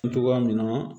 Togoya min na